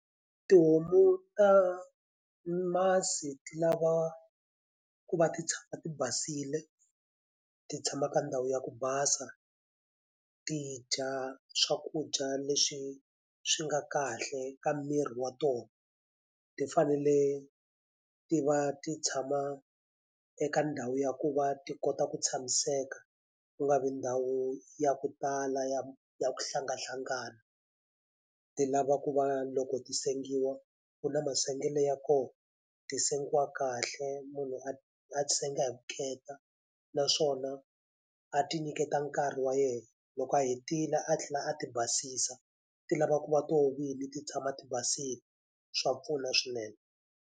Tihomu ta masi ti lava ku va ti tshama ti basile, ti tshama ka ndhawu ya ku basa, ti dya swakudya leswi swi nga kahle ka miri wa tona. Ti fanele ti va ti tshama eka ndhawu ya ku va ti kota ku tshamiseka, ku nga vi ndhawu ya ku tala ya ya ku hlangahlangana. Ti lava ku va loko ti sengiwa, ku na masungulo ya koho, ti sengiwa kahle, munhu a a ti sengiwa hi vukheta. Naswona a ti nyiketa nkarhi wa yena, loko a hetile a tlhela a ti basisa, ti lava ku va tona vinyi ti tshama ti basile. Swa pfuna swinene.